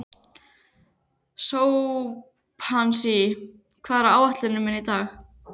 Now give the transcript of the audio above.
Sophanías, hvað er á áætluninni minni í dag?